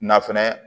Nafolo